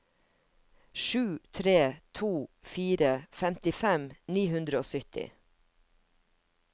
sju tre to fire femtifem ni hundre og sytti